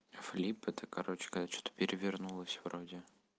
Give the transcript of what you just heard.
флип это короче короче когда что-то перевернулась вроде